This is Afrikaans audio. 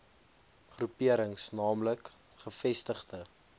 groeperings naamlik gevestigde